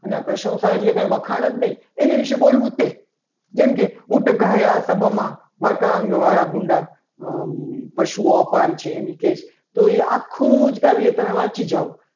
અને આ પ્રશંસા એટલે કંઈ વખાણ જ નહીં એને વિશે બોલવું. તે જેમ કે કૃતજ્ઞ વાળા ભૂંડા પશુઓ અપાર છે. એની કેર તો એ આખું જ કાવ્ય તમે વાંચી જાઓ.